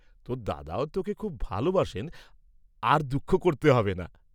তোর দাদাও তোকে খুব ভালবাসেন, আর দুঃখ করতে হবে না?